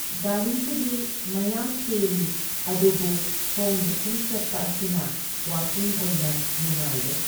ꯒꯥꯔꯤꯕꯨꯗꯤ ꯃꯌꯥꯝ ꯆꯦꯜꯂꯤ, ꯑꯗꯨꯕꯨ ꯈꯣꯡꯅ ꯁꯨꯝ ꯆꯠꯄ ꯑꯁꯤꯅ ꯋꯥꯀꯤꯡ ꯑꯣꯏꯅ ꯅꯨꯡꯉꯥꯏꯔꯦ꯫